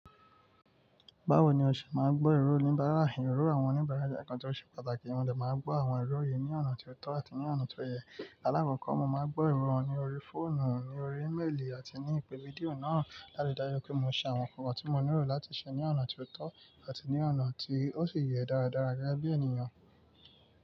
Báwo ni o ṣe máa gbọ́ ìró oníbàárà, ìrò àwọn oníbàárà? Ẹ̀ẹ̀kan tí ó ṣe pàtàkì, mo dẹ̀ máa ń gbọ́ àwọn ìró yí ní ọ̀nà tí ó tọ́ àti ní ọ̀nà tó yẹ. Alákọ̀ọ́kọ́, mo máa ń gbọ́ ìró wọn ní orí fóònù, ní orí eméèlì àti ní ìpè fídíò náà. Láyé dáyé pé mo ṣe àwọn kọ̀kọ̀ tí mo nílò láti ṣe ní ọ̀nà tí ó tọ́ àti ní ọ̀nà tí ó sì yẹ dáradára gẹ́gẹ́ bí ènìyàn.